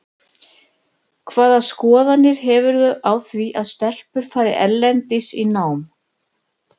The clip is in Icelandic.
Hvaða skoðanir hefurðu á því að stelpur fari erlendis í nám?